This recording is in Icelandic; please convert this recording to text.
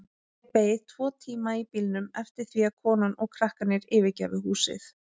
Ég beið tvo tíma í bílnum eftir því að konan og krakkarnir yfirgæfu húsið.